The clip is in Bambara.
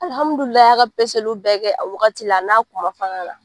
Alihamudulila a y'a ka peseliw bɛɛ kɛ a wagati la a n'a kuma fana la.